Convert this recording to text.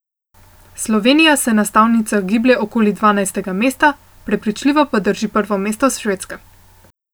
Slovenija se na stavnicah giblje okoli dvanajstega mesta, prepričljivo pa drži prvo mesto Švedska.